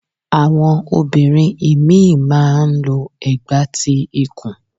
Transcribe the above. Àwọn obìnrin ìmí ì má a n lo ẹ̀gbà ti ikù